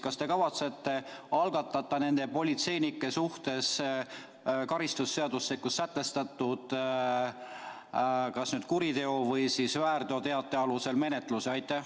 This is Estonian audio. Kas te kavatsete algatada nende politseinike suhtes karistusseadustikus sätestatud kuriteo- või väärteoteate alusel menetluse?